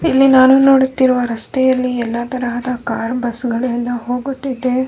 ಇಲ್ಲಿ ನಾನು ನೋಡುತ್ತಿರುವ ರಸ್ತೆಯಲ್ಲಿ ಎಲ್ಲ ತರಹದ ಕಾರು ಬಸ್ಸು ಗಳು ಎಲ್ಲ ಹೋಗುತ್ತಿದೆ.